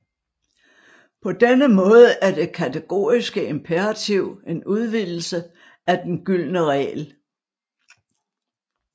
På denne måde er det kategoriske imperativ en udvidelse af den gyldne regel